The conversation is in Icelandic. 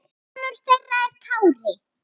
Sonur þeirra er Kári.